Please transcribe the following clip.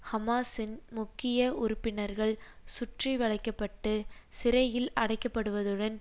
ஹமாஸின் முக்கிய உறுப்பினர்கள் சுற்றி வளைக்க பட்டு சிறையில் அடைக்கப்படுவதுடன்